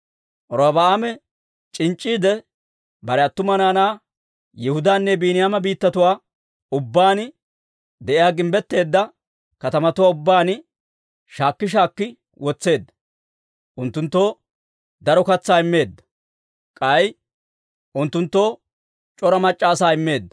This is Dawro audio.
Robi'aame c'inc'c'iide, bare attuma naanaa Yihudaanne Biiniyaama biittatuwaa ubbaan de'iyaa gimbbetteedda katamatuwaa ubbaan shaakki shaakki wotseedda; unttunttoo daro katsaa immeedda. K'ay unttunttoo c'ora mac'c'a asaa immeedda.